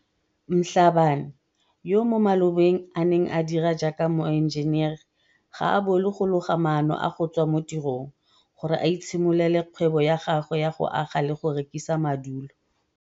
Mhlabane, yo mo malobeng a neng a dira jaaka moenjenere, ga a bolo go loga maano a go tswa mo tirong gore a itshimololele kgwebo ya gagwe ya go aga le go rekisa madulo.